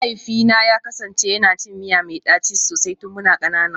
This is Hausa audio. Mahaifina ya kasance yana cin miya mai daci sosai tun muna kanana